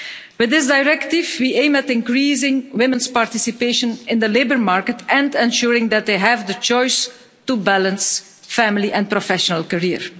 With this directive we aim at increasing women's participation in the labour market and ensuring that they have the choice to balance family and professional career.